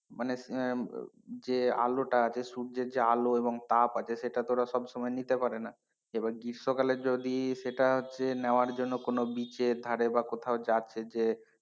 মানে আহ যে আলোটা আছে সূর্যের যে আলো এবং তাপ আছে সেটা তো ওরা সব সময় নিতে পারে না এবার গ্রীষ্মকালে যদি সেটা হচ্ছে নেওয়ার জন্য কোন beach এর ধারে বা কোথাও যাচ্ছে,